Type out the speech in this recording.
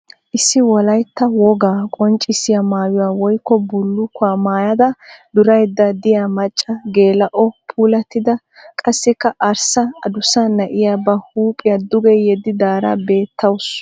Issi wolayitta wogaa qonccissiya mayuwa woyikko bullukkuwa mayyada durayidda diya macca geela'onne puulattida qassikka arssa adussa na'iya ba huuphiya duge yeddidaara beettawusu.